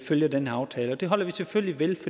følge den her aftale og det holder vi selvfølgelig ved